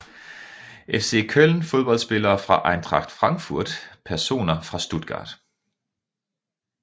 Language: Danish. FC Köln Fodboldspillere fra Eintracht Frankfurt Personer fra Stuttgart